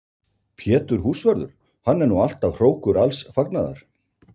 Pétur húsvörður, hann er nú alltaf hrókur alls fagnaðar!